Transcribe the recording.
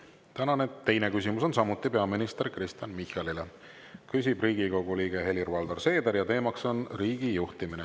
Tänane teine küsimus on samuti peaminister Kristen Michalile, küsib Riigikogu liige Helir-Valdor Seeder ja teema on riigi juhtimine.